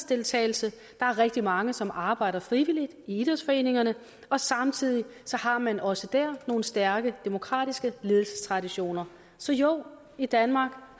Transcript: deltagelse der er rigtig mange som arbejder frivilligt i idrætsforeningerne og samtidig har man også der nogle stærke demokratiske ledelsestraditioner så jo i danmark